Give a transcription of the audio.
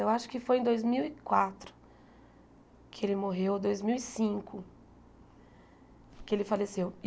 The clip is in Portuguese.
Eu acho que foi em dois mil e quatro que ele morreu ou dois mil e cinco que ele faleceu.